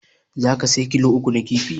Zaka saya kilo uku na kifi?